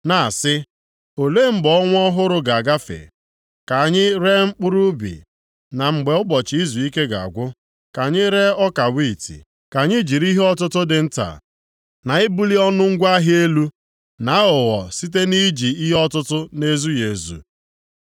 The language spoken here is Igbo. na-asị, “Olee mgbe ọnwa ọhụrụ ga-agafe ka anyị ree mkpụrụ ubi, na mgbe ụbọchị izuike ga-agwụ ka anyị ree ọka wiiti?” Ka anyị jiri ihe ọtụtụ dị nta, na ibuli ọnụ ngwa ahịa elu, na aghụghọ site nʼiji ihe ọtụtụ na-ezughị ezu.